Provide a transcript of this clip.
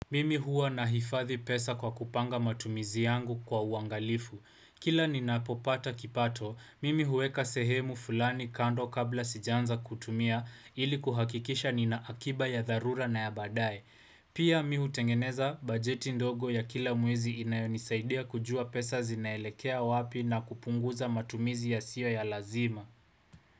Mimi huwa nahifadhi pesa kwa kupanga matumizi yangu kwa uangalifu. Kila ninapopata kipato, mimi huweka sehemu fulani kando kabla sijaanza kutumia ili kuhakikisha nina akiba ya dharura na ya baadae. Pia mimi hutengeneza bajeti ndogo ya kila mwezi inayonisaidia kujua pesa zinaelekea wapi na kupunguza matumizi yasiyo ya lazima.